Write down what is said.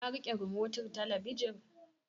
Ka riƙe rimotin talabijin?